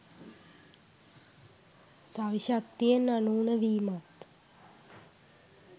සවි ශක්තියෙන් අනූන වීමත්